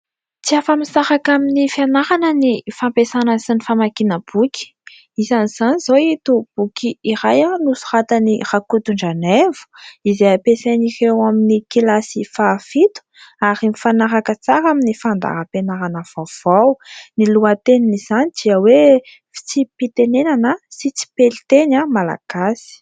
tsy afa-misaraka amin'ny fianarana ny fampiasana sy ny famakiana boky; isan'izany izao ito boky iray nosoratan'i Rakotondranaivo izay ampiasain'ireo amin'ny kilasy fahafito ary mifanaraka tsara amin'ny fandaham-pianarana vaovao, ny lohatenin' izany dia hoe fitsim-pitenenana sy tsipeliteny malagasy